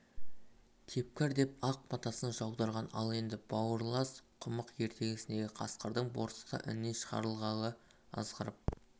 тепкір деп ақ батасын жаудырған ал енді бауырлас құмық ертегісіндегі қасқырдың борсықты іннен шығарғалы азғырып